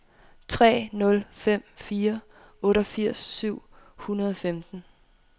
tre nul fem fire otteogfirs syv hundrede og femten